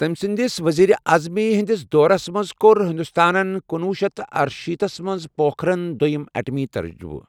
تمہِ سندِس وزیر عظمی ہندِس دورس منز كو٘ر ہِندوستانن کنۄہ شیتھ تہٕ ارشیٖتھ تھس منز پوكھرن دۄیم ایٹمی تجرُبہٕ ۔